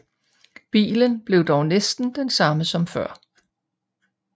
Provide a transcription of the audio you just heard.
Bilen var dog næsten den samme som før